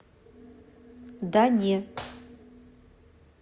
да не